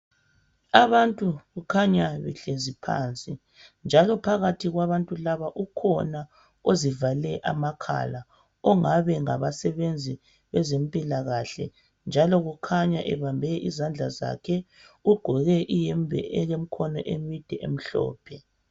Abantu kukhanya behlezi phansi. Njalo phakathi kwabantu laba ukhona uzivale amakhala ongabe ngabasebenzi bezemphilakahle, njalo kukhanya ebambe izandla zakhe, ugqoke ihembe elomkhono imide emhlophe.